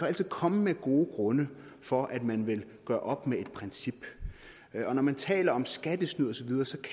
altid komme med gode grunde for at man vil gøre op med et princip og når man taler om skattesnyd osv